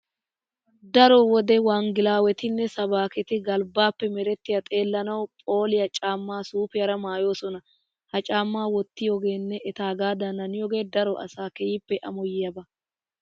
Daro wode wanggelaawetinne sabaaketi galbbaappe merettiya xeellanawu phooliya caammaa suufiyara maayoosona. He cammaa wottiyogeenne etaagaadan haniyogee daro asaa keehippe amoyiyaaba